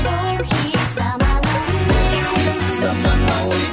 бұл хит заманауи бұл хит заманауи